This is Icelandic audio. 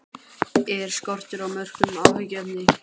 Er skortur á mörkum áhyggjuefni?